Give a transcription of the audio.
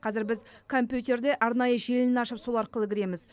қазір біз компьютерде арнайы желіні ашып сол арқылы кіреміз